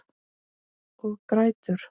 Og grætur.